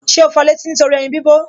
Ṣé o fọ létí nítorí ẹyin bí bọ̀